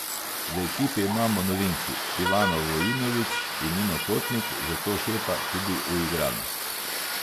V ekipi imamo novinki, Ivano Vojinović in Nino Kotnik, zato šepa tudi uigranost.